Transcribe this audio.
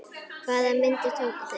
Hvaða myndir tóku þeir?